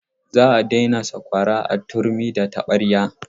Za a daina sakwara a turmi da taɓarya.